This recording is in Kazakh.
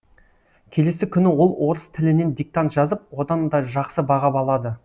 келесі күні ол орыс тілінен диктант жазып одан да жақсы баға алады